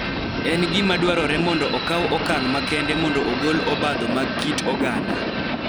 En gima dwarore mondo okaw okang� makende mondo ogol obadho mag kit oganda